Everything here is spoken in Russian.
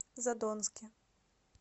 задонске